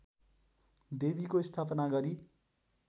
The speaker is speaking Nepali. देवीको स्थापना गरी